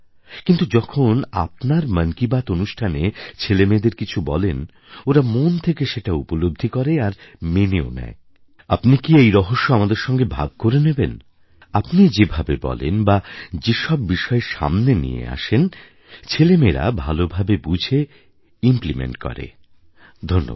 কিন্তু যখন আপনার মন কি বাত অনুষ্ঠানে ছেলেমেয়েদের কিছু বলেন ওরা মন থেকে সেটা উপলব্ধি করে আর মেনেও নেয় আপনি কি এই রহস্য আমাদের সঙ্গে ভাগ করে নেবেন আপনি কি যে ভাবে বলেন বা যে সব বিষয় সামনে নিয়ে আসেন ছেলেমেয়েরা ভালোভাবে বুঝে ইমপ্লিমেন্ট করে ধন্যবাদ